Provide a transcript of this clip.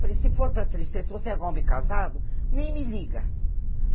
Falei, se for para tristeza, se você é homem casado, nem me liga.